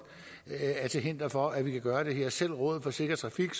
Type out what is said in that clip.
er til hinder for at vi kan gøre det her selv rådet for sikker trafik